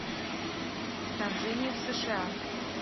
вторжение в сша